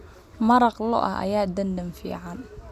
Maraq lo'aad ayaa dhadhan fiican leh.